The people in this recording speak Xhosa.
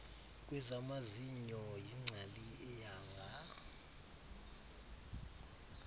kwezamazinyo yingcali eyanga